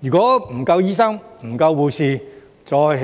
如果沒有足夠醫生和護士，再興